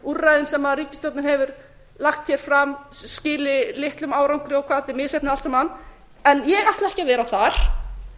úrræðin sem ríkisstjórnin hefur lagt hér fram skili litlum árangri og hvað þetta er misheppnað allt saman en ég ætla ekki að vera þar